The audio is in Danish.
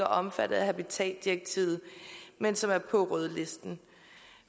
omfattet af habitatsdirektivet men som er på rødlisten